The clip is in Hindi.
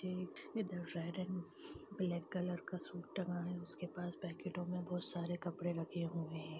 ये इधर सायरन ब्लैक कलर का सूट टंगा है उसके पास पैकेटो में बहुत सारे कपड़े रखे हुए है ।